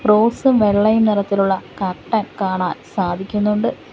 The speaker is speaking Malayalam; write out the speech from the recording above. റോസും വെള്ളയും നിറത്തിലുള്ള കർട്ടൻ കാണാൻ സാധിക്കുന്നുണ്ട്.